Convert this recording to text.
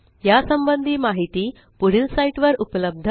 या संबंधी माहिती पुढील साईटवर उपलब्ध आहे